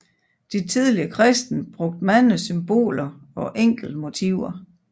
De tidlige kristne brugte mange symboler og enkle motiver